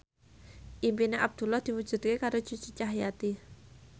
impine Abdullah diwujudke karo Cucu Cahyati